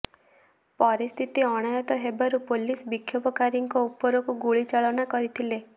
ପରିସ୍ଥିତି ଅଣାୟତ୍ତ ହେବାରୁ ପୋଲିସ ବିକ୍ଷୋଭକାରୀଙ୍କ ୁପରକୁ ଗୁଳି ଚାଳନା କରିଥିଲା